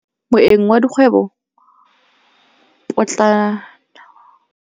Moêng wa dikgwêbô pôtlana o gorogile maabane kwa kopanong ya dikgwêbô.